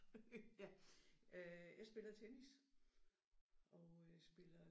Ja øh jeg spiller tennis og øh spiller